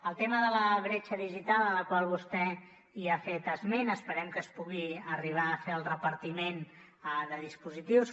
el tema de la bretxa digital de la qual vostè ha fet esment esperem que es pugui arribar a fer el repartiment de dispositius